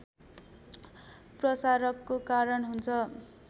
प्रसारको कारण हुन्छ